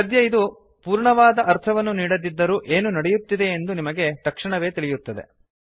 ಸದ್ಯ ಇದು ಪೂರ್ಣವಾದ ಅರ್ಥವನ್ನು ನೀಡದಿದ್ದರೂ ಏನು ನಡೆಯುತ್ತಿದೆಯೆಂದು ನಮಗೆ ತಕ್ಷಣವೇ ತಿಳಿಯುತ್ತದೆ